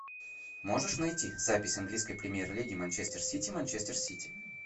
можешь найти запись английской премьер лиги манчестер сити манчестер сити